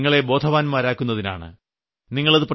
അത് നിങ്ങളെ ബോധവാൻമാരാക്കുന്നതിനാണ്